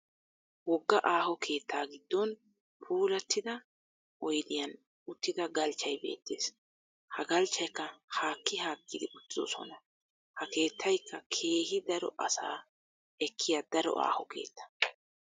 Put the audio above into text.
Wogga aaho keettaa giddon puulattida oyidiyan uttida galchchay beettes. Ha galchchayikka haakki haakkidi uttidosona. Ha keettayikka keehi daro asaa ekkiya daro aaho keetta.